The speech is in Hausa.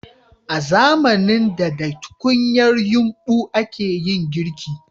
A zamanin da da tukunyar yumbu a ke yin girki